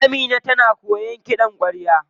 Amina tana koyan kiɗan kwarya.